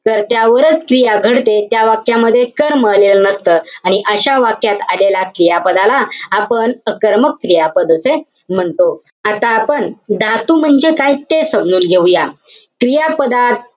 कर्त्यावरच क्रिया घडते. त्या वाक्यामध्ये कर्म आलेलं नसतं. आणि अशा वाक्यात आलेल्या क्रियापदाला आपण अकर्मक क्रियापद असे म्हणतो. आता आपण धातू म्हणजे काय, हे समजून घेऊया. क्रियापदात,